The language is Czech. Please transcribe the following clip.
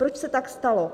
Proč se tak stalo?